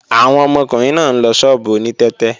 Àwọn ọmọkùnrin náà ń lọ ṣọ́ọ̀bù oní tẹ́tẹ́